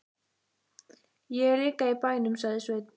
Ég er líka í bænum, sagði Sveinn.